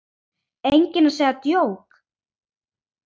Enginn að segja djók?